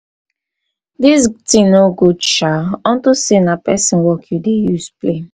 dis thing no good shaa no good shaa unto say na person work you dey use play.